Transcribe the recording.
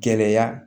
Gɛlɛya